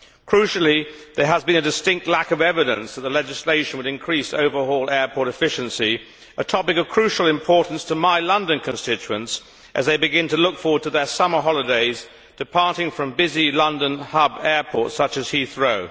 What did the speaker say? Crucially, there has been a distinct lack of evidence that the legislation would increase overall airport efficiency, a topic of crucial importance to my London constituents as they begin to look forward to their summer holidays departing from busy London hub airports, such as Heathrow.